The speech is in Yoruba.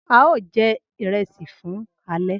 Ao je iresi fun ale